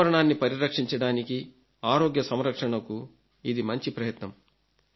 పర్యావరణాన్ని పరిరక్షించడానికి ఆరోగ్య సంరక్షణకు ఇది మంచి ప్రయత్నం